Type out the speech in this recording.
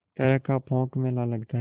तरह का पोंख मेला लगता है